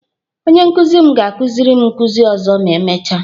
Onye nkuzi m ga-akuziri m nkuzi ọzọ ma emechaa